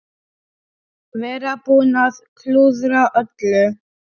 Vera búinn að klúðra öllu.